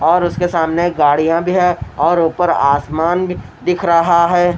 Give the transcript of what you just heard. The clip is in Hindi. और उसके सामने गाड़िया भी है और ऊपर आसमान भी दिख रहा है।